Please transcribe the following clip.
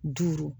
Duuru